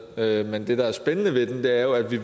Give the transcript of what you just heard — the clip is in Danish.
med men det der er spændende ved den er jo at vi